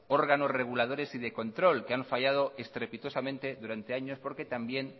órganos reguladores y de control que ha fallado estrepitosamente durante años porque también